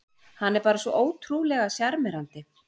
Hann er bara svo ótrúlega sjarmerandi